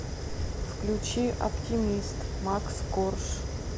включи оптимист макс корж